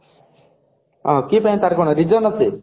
ଆ କି ପାଇଁ ତରବ କଣ reason ଅଛି